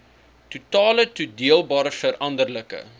totale toedeelbare veranderlike